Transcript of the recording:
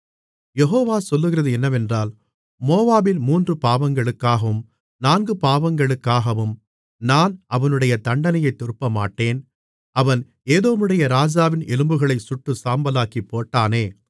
யெகோவா சொல்லுகிறது என்னவென்றால் மோவாபின் மூன்று பாவங்களுக்காகவும் நான்கு பாவங்களுக்காகவும் நான் அவனுடைய தண்டனையைத் திருப்பமாட்டேன் அவன் ஏதோமுடைய ராஜாவின் எலும்புகளைச் சுட்டு சாம்பலாக்கிப் போட்டானே